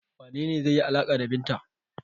Wane ne zai yi alaƙa da Binta?